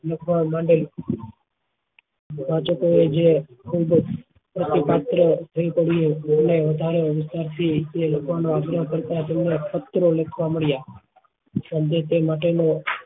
લખવા બદલ આગ્રહ કરતા તેમના પત્રો લખતા મળ્યા સંદેશા માટે નો